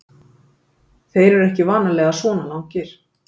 Þeir eru ekki vanalega svona langir.